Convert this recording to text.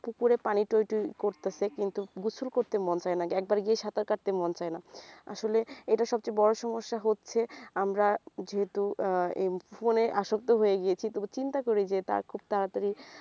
পুকুরে পানি টই টই করতাছে কিন্তু গোসল করতে মন চায়না একবার গিয়ে সাঁতার কাটতে মন চায়না আসলে এইটার সবচেয়ে বড় সমস্যা হচ্ছে আমরা যেহেতু আহ এই phone এ আসক্ত হয়ে গিয়েছি তবু চিন্তা করি যে তারা খুব তাড়াতাড়ি